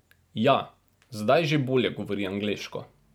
Ja, zdaj že bolje govori angleško.